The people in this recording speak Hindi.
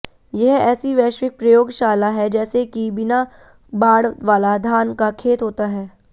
यह ऐसी वैश्विक प्रयोगशाला है जैसा कि बिना बाड़ वाला धान का खेत होता है